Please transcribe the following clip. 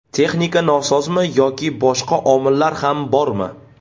Texnika nosozmi yoki boshqa omillar ham bormi?